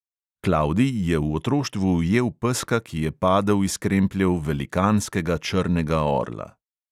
Klavdij je v otroštvu ujel peska, ki je padel iz krempljev velikanskega črnega orla.